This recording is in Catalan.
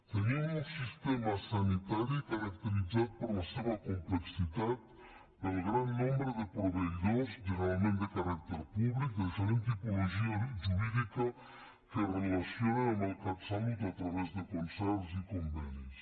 tenim un sistema sanitari caracteritzat per la seva complexitat pel gran nombre de proveïdors generalment de caràcter públic de diferent tipologia jurídica que es relacionen amb el catsalut a través de concerts i convenis